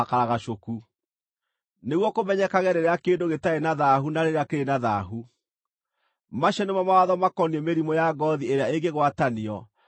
nĩguo kũmenyekage rĩrĩa kĩndũ gĩtarĩ na thaahu na rĩrĩa kĩrĩ na thaahu. Macio nĩmo mawatho makoniĩ mĩrimũ ya ngoothi ĩrĩa ĩngĩgwatanio, na makoniĩ ũgumu.